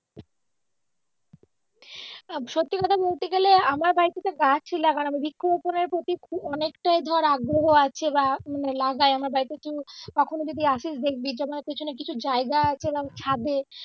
আহ সত্যি কথা বলতে গেলে আমার বাড়ীতে গাছই লাগানো বা বৃক্ষ রোপনের প্রতি খুব অনেকটাই ধর আগ্রহ আছে বা মানে লাগাই আমার বাড়ীতে তুই কখনো যদি আসিস দেখবি পিছনে যেমন কিছু জায়গা আছে বা ছাদে